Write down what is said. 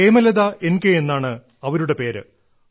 Hemalatha N K എന്നാണ് അവരുടെ പേര്